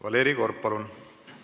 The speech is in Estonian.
Valeri Korb, palun!